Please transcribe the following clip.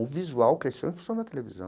O visual cresceu em função da televisão.